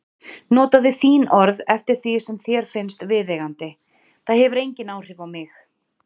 Notaðu þín orð eftir því sem þér finnst viðeigandi, það hefur engin áhrif á mig.